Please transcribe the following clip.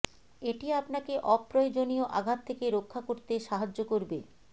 এটি আপনাকে অপ্রয়োজনীয় আঘাত থেকে রক্ষা করতে সাহায্য করবে